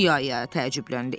İa-ia təəccübləndi.